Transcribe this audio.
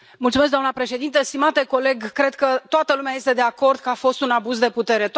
Doamnă președintă, stimate coleg, cred că toată lumea este de acord că a fost un abuz de putere.